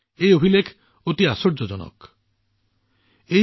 এই অভিলেখটো স্বয়ং আশ্চৰ্যজনক হৈছে